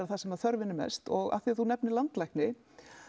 það sem þörfin er mest og af því þú nefnir landlækni